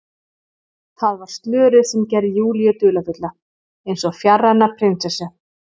Það var slörið sem gerði Júlíu dularfulla, eins og fjarræna prinsessu.